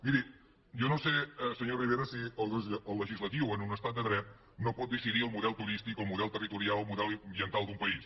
miri jo no sé senyor rivera si el legislatiu en un estat de dret no pot decidir el model turístic o el model territorial o el model ambiental d’un país